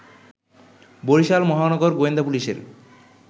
বরিশাল মহানগর গোয়েন্দা পুলিশের